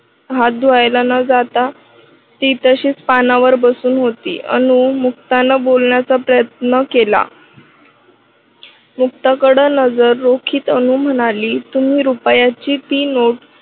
हात धुवायला न जाता ती तशीच पानावर बसून होती. अनु मुक्ता न बोलण्याचा प्रयत्न केला. मुक्ताकड नजर रोकित अनु म्हणाली तुम्ही रुपयाची ती नोट